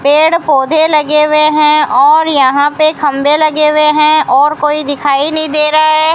पेड़ पौधे लगे हुए हैं और यहां पे खंभे लगे हुए हैं और कोई दिखाई नहीं दे रहा है।